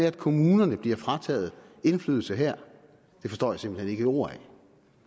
at kommunerne bliver frataget indflydelse her det forstår jeg simpelt hen ikke et ord af